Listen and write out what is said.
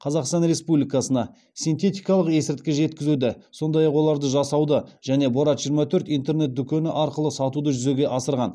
қазақстан республикасына синтетикалық есірткі жеткізуді сондай ақ оларды жасауды және борат жиырма төрт интернет дүкені арқылы сатуды жүзеге асырған